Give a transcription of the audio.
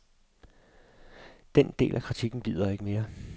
Den del af kritikken bider ikke mere.